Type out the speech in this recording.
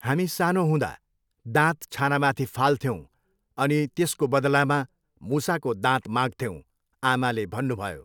हामी सानो हुँदा, दाँत छानामथि फाल्थ्यौँ अनि त्यसको बदलामा मुसाको दाँत माग्थ्यौँ, आमाले भन्नुभयो।